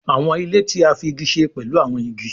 Àwọn ilé tí a fí ìgi ṣe pẹ̀lú áwọn ìgi